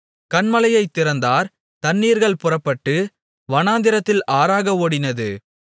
கன்மலையைத் திறந்தார் தண்ணீர்கள் புறப்பட்டு வனாந்திரத்தில் ஆறாக ஓடினது